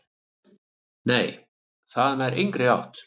"""Nei, það nær engri átt."""